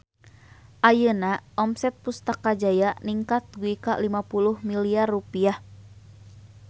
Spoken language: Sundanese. Ayeuna omset Pustaka Jaya ningkat dugi ka 50 miliar rupiah